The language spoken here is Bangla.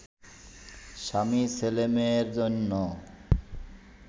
স্বামী ছেলেমেয়ের জন্য